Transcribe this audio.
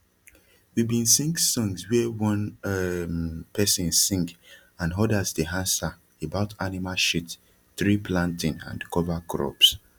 we bin sing songs wia one um person sing and odas dey ansa about anima shit tree planting and cover crops